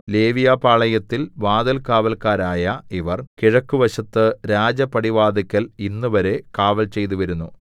ലേവ്യപാളയത്തിൽ വാതിൽകാവല്ക്കാരായ ഇവർ കിഴക്ക് വശത്ത് രാജപടിവാതില്ക്കൽ ഇന്നുവരെ കാവൽചെയ്തുവരുന്നു